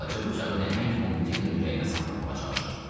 Balaca bıçağı nəhəng Mobi-Dikin ürəyinə saplamağa çalışır.